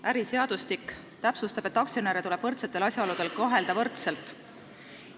Äriseadustik täpsustab, et aktsionäre tuleb võrdsetel asjaoludel kohelda võrdselt.